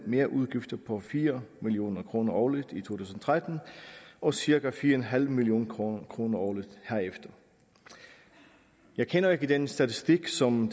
merudgifter på fire million kroner årligt i to tusind og tretten og cirka fire million kroner kroner årligt herefter jeg kender ikke den statistik som